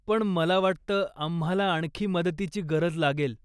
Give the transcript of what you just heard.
पण मला वाटतं, आम्हाला आणखी मदतीची गरज लागेल.